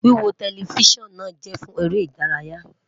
Wiwo Telifisonu jẹ fun ere idaraya